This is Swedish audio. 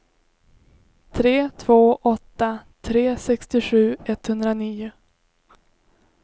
tre två åtta tre sextiosju etthundranio